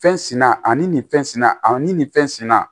Fɛn sina ani nin fɛn sina a ni nin fɛn sina